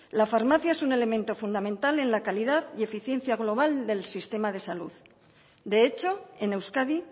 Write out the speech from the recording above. la farmacia es un elemento fundamental en la calidad y eficiencia global del sistema de salud de hecho en euskadi